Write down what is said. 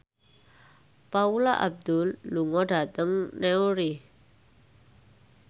Paula Abdul lunga dhateng Newry